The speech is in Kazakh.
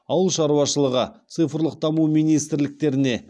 ауыл шаруашылығы цифрлық даму министрліктеріне